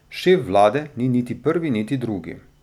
Šef vlade ni niti prvi niti drugi.